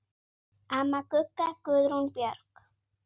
Amma Gugga, Guðrún Björg.